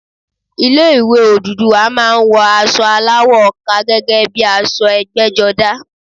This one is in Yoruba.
Ilé ìwé Odùduwà má a ń wọ asọ aláwọ̀ ọkà gẹ́gẹ́ bíi aṣọ ẹgbẹ́jọdá